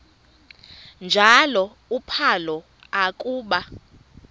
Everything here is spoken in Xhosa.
njalo uphalo akuba